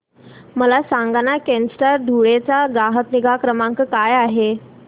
मला सांगाना केनस्टार धुळे चा ग्राहक निगा क्रमांक काय आहे